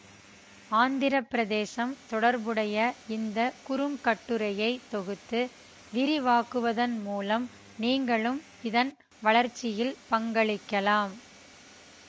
ஆந்திர பிரதேசம் தொடர்புடைய இந்த குறுங்கட்டுரையை தொகுத்து விரிவாக்குவதன் மூலம் நீங்களும் இதன் வளர்ச்சியில் பங்களிக்கலாம்